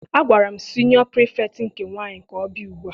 Agwara m siniọ Pirifetktị nke nwaanyị ka ọ bịa ugbua!